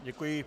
Děkuji.